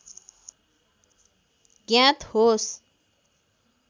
ज्ञात होस्